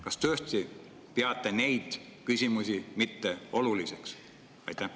Kas te tõesti peate neid küsimusi mitteoluliseks?